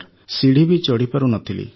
ସିଢ଼ି ବି ଚଢ଼ିପାରୁନଥିଲି